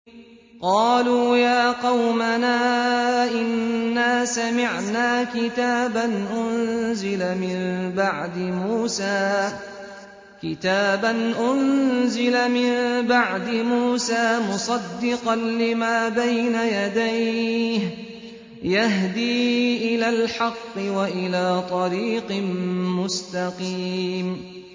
قَالُوا يَا قَوْمَنَا إِنَّا سَمِعْنَا كِتَابًا أُنزِلَ مِن بَعْدِ مُوسَىٰ مُصَدِّقًا لِّمَا بَيْنَ يَدَيْهِ يَهْدِي إِلَى الْحَقِّ وَإِلَىٰ طَرِيقٍ مُّسْتَقِيمٍ